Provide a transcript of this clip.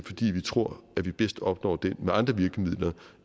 fordi vi tror at vi bedst opnår det med andre virkemidler